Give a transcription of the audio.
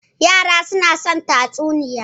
Yara suna son tatsuniya.